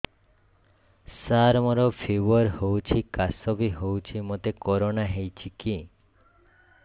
ସାର ମୋର ଫିବର ହଉଚି ଖାସ ବି ହଉଚି ମୋତେ କରୋନା ହେଇଚି କି